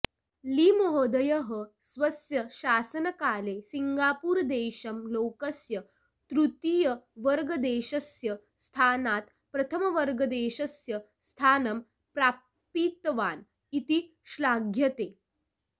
ली महोदयः स्वस्य शासनकाले सिङ्गपूरदेशं लोकस्य तृतीयर्वर्गदेशस्य स्थानात् प्रथमवर्गदेशस्य स्थानं प्रापितवान् इति श्लाघ्यते